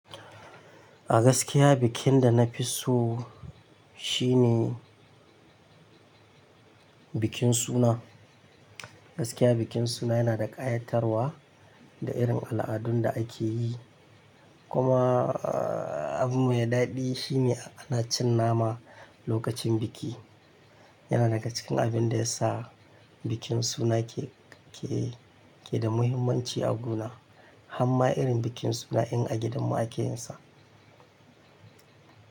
A gaskiya bikin da na fi so shi ne bikin suna. Gaskiya bikin suna yana da ƙayatarwa da irin al'adun da ake yi, kuma abu mai daɗi shi ne ana cin nama lokacin biki. Yana daga cikin abin da ya sa bikin suna keda muhimmanci a gu na, har ma irin bikin suna in a gidan mu ake yinsa.